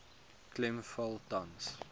klem val tans